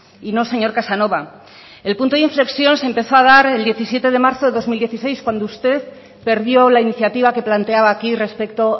y no señor casanova el punto de inflexión se empezó a dar el diecisiete de marzo de dos mil dieciséis cuando usted perdió la iniciativa que planteaba aquí respecto